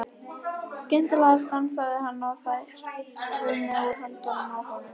Skyndilega stansaði hann og þær runnu úr höndunum á honum.